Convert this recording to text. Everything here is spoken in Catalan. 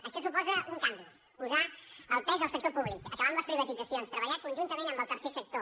això suposa un canvi posar el pes al sector públic acabar amb les privatitzacions treballar conjuntament amb el tercer sector